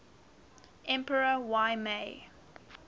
emperor y mei